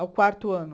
Ao quarto ano.